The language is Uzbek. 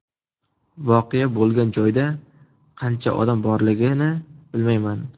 Voqea bo‘lgan joyda qancha odam borligini bilmayman.